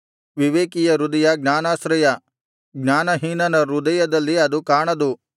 ವಿವೇಕಿಯ ಹೃದಯ ಜ್ಞಾನಾಶ್ರಯ ಜ್ಞಾನಹೀನನ ಹೃದಯದಲ್ಲಿ ಅದು ಕಾಣದು